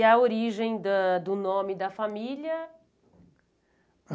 E a origem da do nome da família?